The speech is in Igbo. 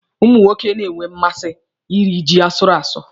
Ụmụ nwoke na-enwe mmasị iri ji asụrụ asụ.